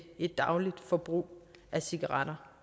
et dagligt forbrug af cigaretter